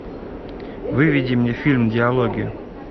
выведи мне фильм диалоги